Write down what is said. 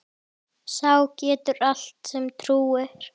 Sá getur allt sem trúir.